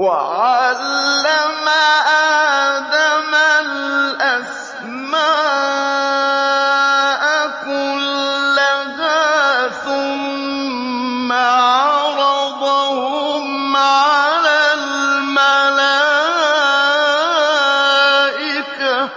وَعَلَّمَ آدَمَ الْأَسْمَاءَ كُلَّهَا ثُمَّ عَرَضَهُمْ عَلَى الْمَلَائِكَةِ